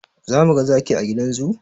Za mu ga zaki a gidan zoo?